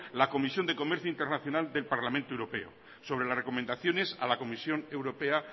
la comisión de comercio internacional del parlamento europeo sobre las recomendaciones a la comisión europea